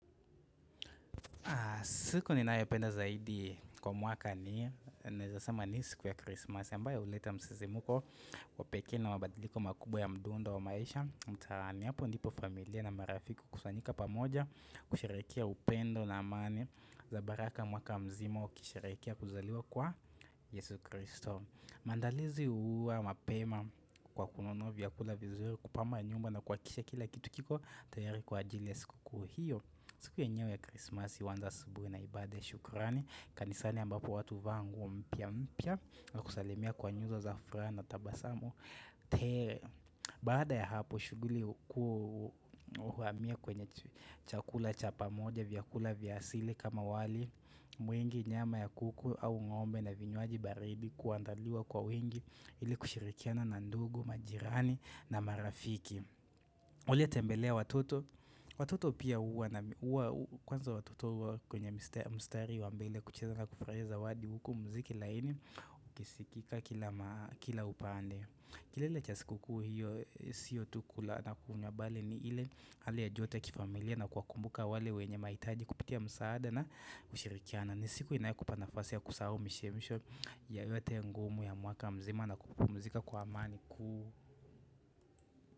Siku ninayopenda zaidi kwa mwaka ni naeza sema ni siku ya krismasi. Ambayo uleta msisimuko wa pekee na mabadiliko makubwa ya mdundo wa maisha. Mtaani hapo ndipo familia na marafiki hukusanyika pamoja kusherehekea upendo na amani. Za baraka mwaka mzima kusherehekea kuzaliwa kwa Yesu kristo. Maandalizi huwa mapema kwa kununua vyakula vizuri, kupamba nyumba na kuhakikisha kila kitu kiko tayari kwa ajili ya siku hio. Siku yenyewe ya Christmas uanza asubuhi na ibada ya shukurani kanisani ambapo watu uvaa nguo mpya mpya na kusalimia kwa nyuso za furaha na tabasamu tele. Baada ya hapo shughuli ukuwa uhamia kwenye chakula cha pamoja vyakula vya asili kama wali mwingi nyama ya kuku au ngombe na vinywaji baridi kuandaliwa kwa wingi ili kushirikiana na ndugu, majirani na marafiki Uliotembelea watoto. Watoto pia huwa na kwanza watoto huwa kwenye mstari wa mbele kucheza na kufurahia zawadi huku mziki laini Ukisikika kila upande kelele cha siku kuu hiyo sio tu kula na kunywa bali ni ile Hali ya joto ya kifamilia na kuwakumbuka wale wenye maitaji kupitia msaada na kushirikiana ni siku inayokupa nafasi ya kusahau mishemisho ya yote ngumu ya mwaka mzima na kupumzika kwa amani.